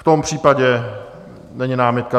V tom případě není námitka.